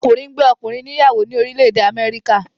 Ọkùnrin ngbé ọkùnrin ní ìyàwó ni orílè èdè Améríkà.